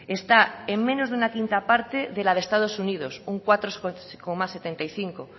esta en menos de una quinta parte de la de estados unidos un cuatro coma setenta y cinco